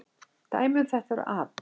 Dæmi um þetta eru atóm.